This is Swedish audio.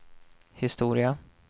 historia